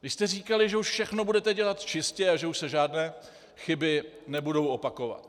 Vy jste říkali, že už všechno budete dělat čistě a že už se žádné chyby nebudou opakovat.